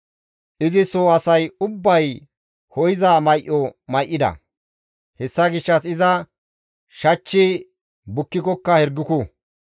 Izi soo asay ubbay ho7iza may7o may7ida; hessa gishshas iza shachchi bukkikokka hirguku.